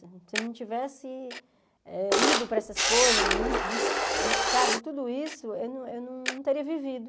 Se eu não tivesse eh ido para essas coisas, bus bus buscado tudo isso, eu não eu não teria vivido.